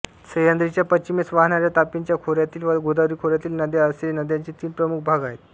सह्याद्रीच्या पश्चिमेस वाहणाऱ्या तापीच्या खोऱ्यातील व गोदावरी खोऱ्यातील नद्या असे नद्यांचे तीन प्रमुख भाग आहेत